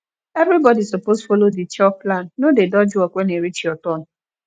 everybody suppose follow the chore plan no dey dodge work when e reach your turn